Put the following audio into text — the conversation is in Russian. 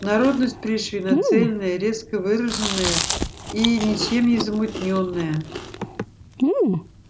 народность пришвина цельная резко выраженная и ничем не замутнённая